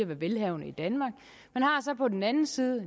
være velhavende i danmark man har så på den anden side en